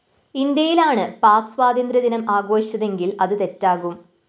ഇന്ത്യയിലാണ് പാക് സ്വാതന്ത്ര്യ ദിനം ആഘോഷിച്ചതെങ്കില്‍ അത് തെറ്റാകും